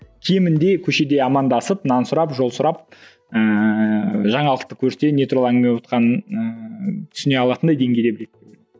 кемінде көшеде амандасып нан сұрап жол сұрап ыыы жаңалықты көрсе не туралы әңгіме бовақанын ыыы түсіне алатындай деңгейде біледі